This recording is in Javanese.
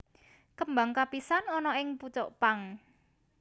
Kembang kapisan ana ing pucuk pang